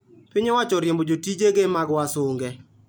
Piny owacho oriembo jotije mag wasunge